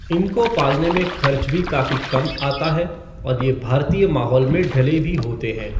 इनको पालने में खर्च भी काफी कम आता है, और ये भारतीय माहौल में ढ़ले भी होते हैं।